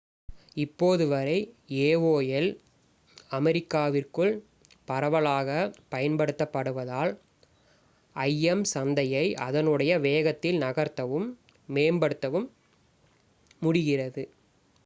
இப்போது வரை aol அமெரிக்காவிற்குள் பரவலாகப் பயன்படுத்தப்படுவதால் im சந்தையை அதனுடைய வேகத்தில் நகர்த்தவும் மேம்படுத்தவும் முடிகிறது